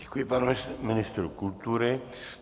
Děkuji panu ministrovi kultury.